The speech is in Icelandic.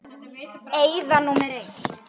Eyða númer eitt.